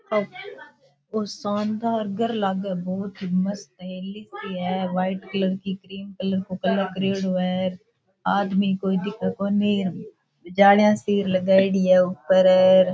ओ शानदार घर लागे बहुत ही मस्त है लिफ्ट है व्हाइट कलर की क्रीम कलर को कलर करेड़ो है आदमी कोई दिखे कोणी जालियां सी लगाएड़ी है ऊपर अर।